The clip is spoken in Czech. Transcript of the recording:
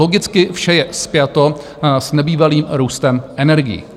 Logicky vše je spjato s nebývalým růstem energií.